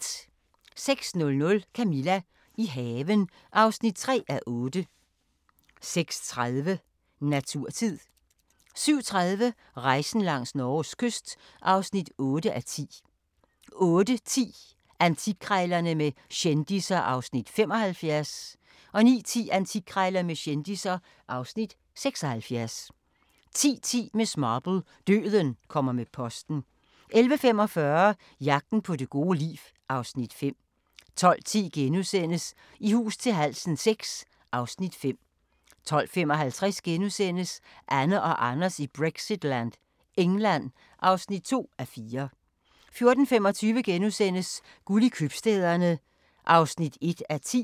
06:00: Camilla – i haven (3:8) 06:30: Naturtid 07:30: Rejsen langs Norges kyst (8:10) 08:10: Antikkrejlerne med kendisser (Afs. 75) 09:10: Antikkrejlerne med kendisser (Afs. 76) 10:10: Miss Marple: Døden kommer med posten 11:45: Jagten på det gode liv (Afs. 5) 12:10: I hus til halsen VI (Afs. 5)* 12:55: Anne og Anders i Brexitland: England (2:4)* 14:25: Guld i Købstæderne (1:10)*